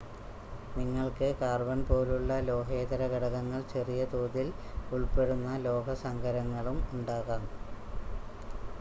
നിങ്ങൾക്ക് കാർബൺ പോലുള്ള ലോഹേതര ഘടകങ്ങൾ ചെറിയ തോതിൽ ഉൾപ്പെടുന്ന ലോഹസങ്കരങ്ങളും ഉണ്ടാകാം